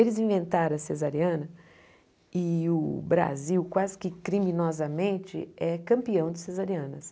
Eles inventaram a cesariana e o Brasil quase que criminosamente é campeão de cesarianas.